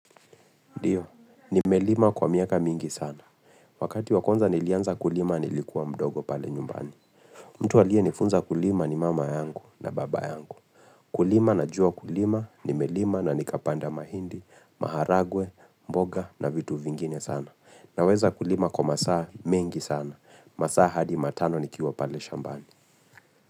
Ndiyo, nime lima kwa miaka mingi sana. Wakati wakwanza nilianza kulima nilikuwa mdogo pale nyumbani. Mtu aliye nifunza kulima ni mama yangu na baba yangu. Kulima na jua kulima, nime lima na nikapanda mahindi, maharagwe, mboga na vitu vingine sana. Na weza kulima kwa masaa mengi sana. Masaa hadi matano nikiwa pale shambani.